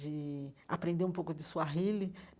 de aprender um pouco de Swahili.